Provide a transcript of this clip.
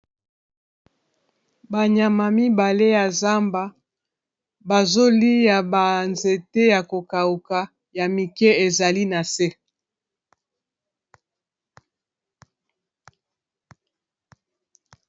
banyama mibale ya zamba bazoliya banzete ya kokawuka ya mike ezali na se